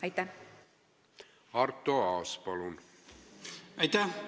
Aitäh!